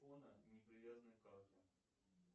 не привязанный к карте